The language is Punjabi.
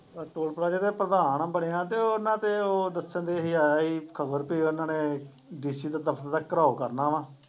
ਟੋਲ ਪਲਾਜ਼ੇ ਤੇ ਪ੍ਰਧਾਨ ਬਣਿਆ ਤੇ ਉਹਨਾਂ ਦੇ ਉਹ ਦੱਸਣਦੇ ਸੀ ਆਇਆ ਸੀ ਖ਼ਬਰ ਵੀ ਉਹਨਾਂ ਨੇ DC ਦੇ ਦਫ਼ਤਰ ਦਾ ਘਿਰਾਓ ਕਰਨਾ ਵਾਂ